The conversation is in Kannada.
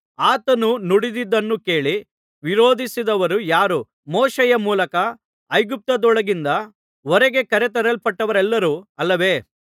ಆತನು ನುಡಿದದ್ದನ್ನು ಕೇಳಿ ವಿರೋಧಿಸಿದವರು ಯಾರು ಮೋಶೆಯ ಮೂಲಕ ಐಗುಪ್ತದೊಳಗಿಂದ ಹೊರಗೆ ಕರೆತರಲ್ಪಟ್ಟವರೆಲ್ಲರೂ ಅಲ್ಲವೇ